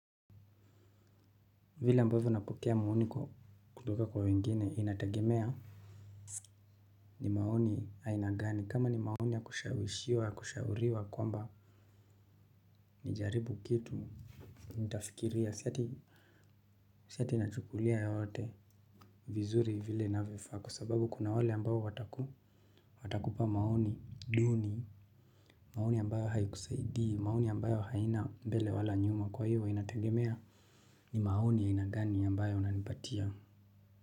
Vile ambavyo napokea maoni kutoka kwa wengine inategemea. Ni maoni haina gani kama ni maoni ya kushawishiwa ya kushauriwa kwamba nijaribu kitu nitafikiria siati inachukulia yote. Vizuri vile inavyofaa kwa sababu kuna wale ambayo wataku watakupa maoni duni. Maoni ambayo haikusaidii maoni ambayo haina mbele wala nyuma kwa hivo inategemea lni maoni aina gani ambayo unanipatia.